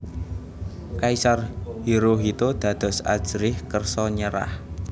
Kaisar Hirohito dados ajrih kersa nyerah